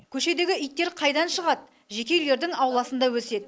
көшедегі иттер қайдан шығады жеке үйлердің ауласында өседі